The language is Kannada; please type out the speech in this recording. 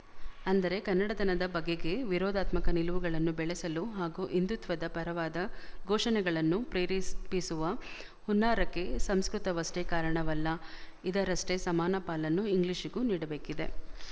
ಅಂದರೆ ಕನ್ನಡತನದ ಬಗೆಗೆ ವಿರೋಧಾತ್ಮಕ ನಿಲುವುಗಳನ್ನು ಬೆಳೆಸಲು ಹಾಗೂ ಹಿಂದೂತ್ವದ ಪರವಾದ ಘೋಷಣೆಗಳನ್ನು ಪ್ರೇರೇಪಿಸುವ ಹುನ್ನಾರಕ್ಕೆ ಸಂಸ್ಕೃತ ವಷ್ಟೇ ಕಾರಣವಲ್ಲ ಇದರಷ್ಟೇ ಸಮಾನ ಪಾಲನ್ನು ಇಂಗ್ಲಿಶಿಗೂ ನೀಡಬೇಕಿದೆ